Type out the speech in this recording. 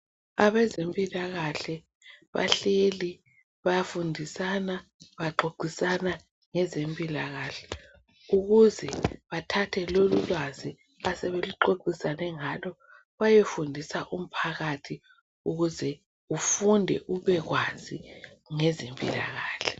Abezempila kahle bahleli bayafundisana baxoxisana ngezempila kahle ukuze bathathe lolulwazi asebeluxoxisane ngalo bayefundisa umphakathi ukuze ufunde ubekwazi ngezempila kahle